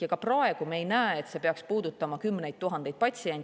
Ja ka praegu me ei näe, et see peaks puudutama kümneid tuhandeid patsiente.